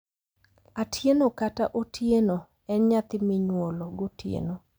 Atieno kata Otieno en nyathi minyuol gotieno,